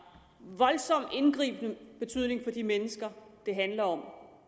voldsom indgribende betydning for de mennesker det handler om